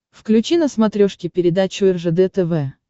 включи на смотрешке передачу ржд тв